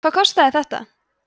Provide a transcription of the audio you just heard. hvað kostar þetta